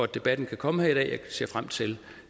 debatten kan komme her i dag jeg ser frem til